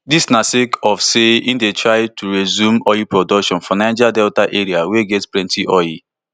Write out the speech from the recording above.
dis na sake of say e dey try to resume oil production for di niger delta area wey get plenti oil